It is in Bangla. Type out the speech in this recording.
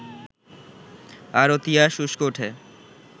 তারও তিয়াস উসকে ওঠে